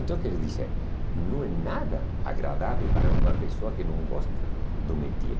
Então, quer dizer, não é nada agradável para uma pessoa que não gosta do métier.